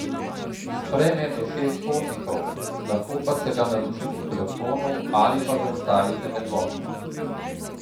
Sprejme do šest potnikov, lahko pa se ga naroči po telefonu, ali pa ga ustavite med vožnjo.